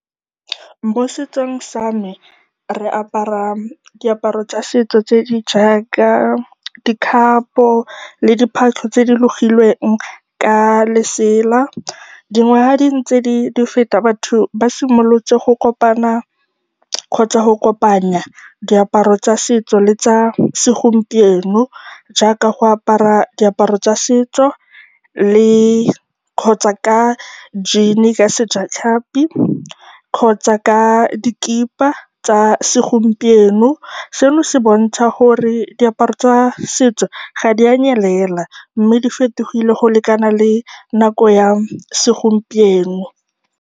Mo setsong sa me, re apara diaparo tsa setso tse di jaaka dikhapo le diphatlho tse di logilweng ka lesela. Dingwaga fa di ntse di feta, batho ba simolotse go kopana kgotsa go kopanya diaparo tsa setso le tsa segompieno jaaka go apara diaparo tsa setso le, kgotsa ka jean-e ka sejatlhapi kgotsa ka dikipa tsa segompieno, seno se bontsha gore diaparo tsa setso ga di a nyelela mme di fetogile go lekana le nako ya segompieno.